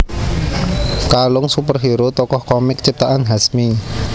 Kalong superhero tokoh komik ciptaan Hasmi